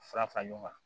Fara fara ɲɔgɔn kan